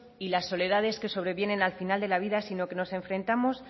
y las soledades que sobrevienen al final de la vida sino que nos enfrentamos